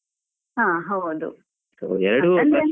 ಹಾ ಹೌದು .